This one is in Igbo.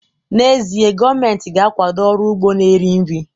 N'ezie, gọọmentị ga-akwado ọrụ ugbo na-eri nri